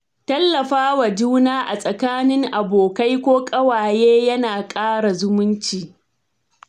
Tallafawa juna a tsakanin abokai ko ƙawaye yana ƙara zumunci.